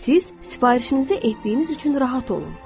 Siz sifarişinizi etdiyiniz üçün rahat olun.